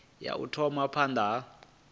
ya u thoma phanda ha